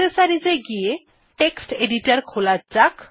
accessories এ গিয়ে text editor খোলা যাক